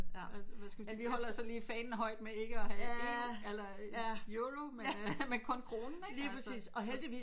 Hvad hvad skal man sige vi holder så lige fanen højt med ikke at have EU eller Euro med kun kronen ikke